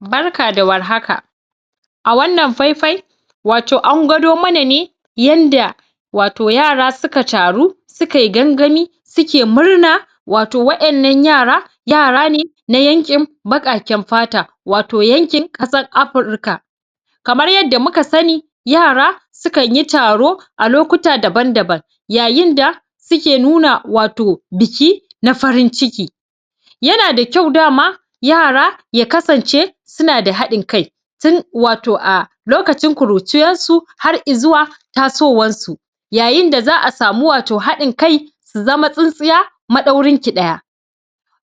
barka da warhaka a wannan faifai wato an gwado mana ne yanda wato yara suka taru sukai gangami suke murna wato wa'ennan yara yara ne na yanƙim baƙaken fata wato yankin ƙasar afirika kamar yadda muka sani yara su kanyi taro a lokuta daban daban yayin da suke nuna wato biki na farin ciki yana da kyau dama yara ya kasance suna da haɗin kai tin wato a lokacin kuruciyassu har i zuwa tasowassu yayin da za'a samu wato haɗin kai su zama tsintsiya maɗaurinki ɗaya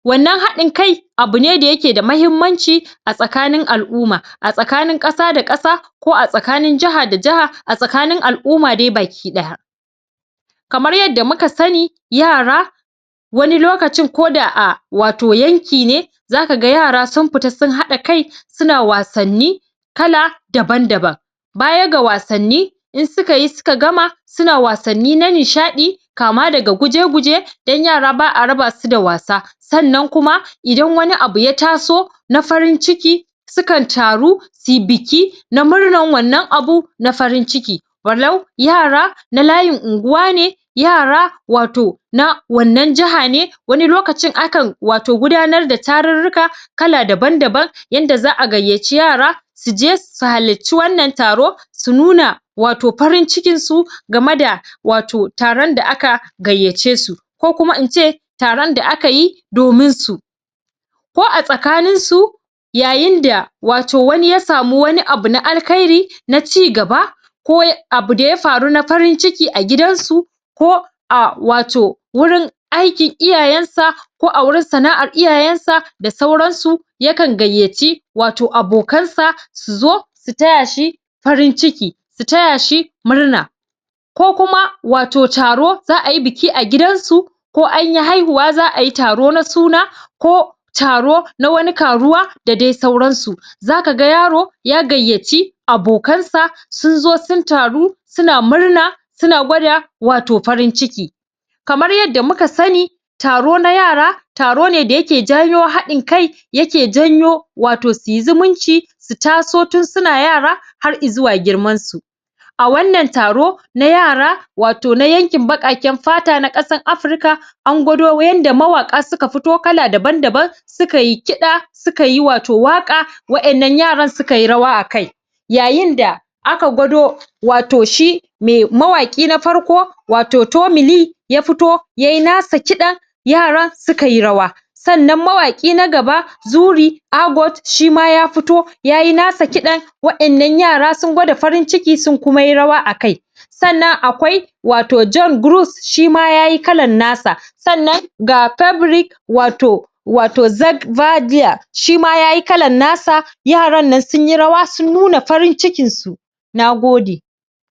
wannan haɗin kai abu ne da yake da mahimmanci a tsakanin al'uma a tsakanin ƙasa da ƙasa ko a tsakanin jaha da jaha a tsakanin al'uma dai baki ɗaya kamar yadda muka sani yara wani lokacin ko da a wato yanki ne zaka ga yara sun pita sun haɗa kai suna wasanni kala daban daban baya ga wasanni in sukayi suka gama suna wasanni na nishaɗi kama daga guje guje don yara ba'a raba su da wasa sannan kuma idan wani abu ya taso na farin ciki su kan taru sui biki na murnan wannan abu na farin ciki walau yara na layin unguwa ne yara wato na wannan jaha ne wani lokacin akan wato gudanar da tarurruka kala daban daban yanda za'a gayyaci yara suje su halacci wannan taro su nuna wato parin cikinsu game da wato taron da aka gayyace su ko kuma ince taron da akayi domin su ko a tsakaninsu yayin da wato wani ya samu wani abu na alkhairi na cigaba ko abu da ya faru na farin ciki a gidansu ko a wato wurin aikin iyayensa ko a wurin sana'ar iyayensa da sauransu ya kan gayyaci wato abokansa suzo su taya shi farin ciki su taya shi murna ko kuma wato taro za'ayi biki a gidansu ko anyi haihuwa za'ayi taro na suna ko taro na wani karuwa da de sauransu zaka ga yaro ya gayyaci abokansa sun zo sun taro suna murna suna gwada wato farin ciki kamar yadda muka sani taro na yara taro ne da yake janyo haɗin kai yake janyo wato suyi zumunci su taso tin suna yara har i zuwa girmansu a wannan taro na yara wato na yankin baƙaƙen fata na ƙasan afrika an gwado yanda mawaƙa suka futo kala daban daban su kayi kiɗa su kayi wato waƙa wa'ennan yaran sukayi rawa akai yayin da aka gwado wato shi me mawaƙi na farko wato tomili ta futo yayi nasa kiɗan yara sukayi rawa sannan mawaƙi na gaba zuri agot shima ya futo yayi nasa kiɗan wa'ennan yara sun gwada farin ciki sun kuma yi rawa akai sannan akwai wato jon gurus shima yayi kalan nasa sannan ga pebrik wato wato zek va diya shima yayi kalan nasa yaran nan sunyi rawa sun nuna farin cikinsu nagode